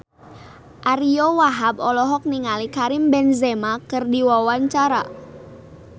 Ariyo Wahab olohok ningali Karim Benzema keur diwawancara